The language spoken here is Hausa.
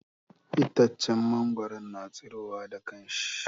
Itaccen mangwaro na tsiro wa da kanshi.